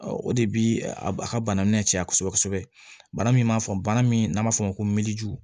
o de bi a ka bana minɛ caya kosɛbɛ kosɛbɛ bana min b'a fɔ bana min n'a b'a fɔ o ma ko